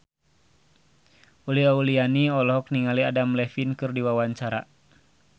Uli Auliani olohok ningali Adam Levine keur diwawancara